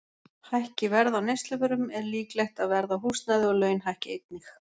Hækki verð á neysluvörum er líklegt að verð á húsnæði og laun hækki einnig.